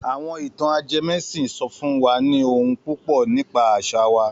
Àwọn ìtàn ajẹmẹ́sìn sọ fún wa ní ohun púpọ̀ nípa àṣà wa.